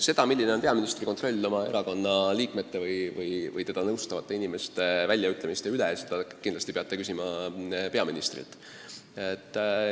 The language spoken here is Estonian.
Seda, milline on peaministri kontroll oma erakonna liikmete või teda nõustavate inimeste väljaütlemiste üle, peate kindlasti küsima peaministrilt.